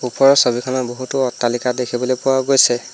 ওপৰৰ ছবিখনত বহুতো অট্টালিকা দেখিবলৈ পোৱা গৈছে।